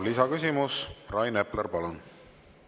Lisaküsimus, Rain Epler, palun!